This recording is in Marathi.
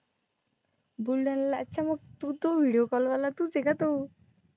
बुलढाण्याला, अच्छा मग तू तू video call वाला तूच आहे का तो?